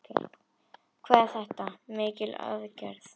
Hvað er þetta mikil aðgerð?